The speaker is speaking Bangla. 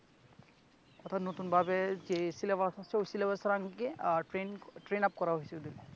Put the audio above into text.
অর্থাৎ নতুন ভাবে যে সিলেবাস আসছে ঐ সিলেবাসের আঙ্গিকে ট্রেইন ~ট্রেনআপ করা হয়েছে ওদেরকে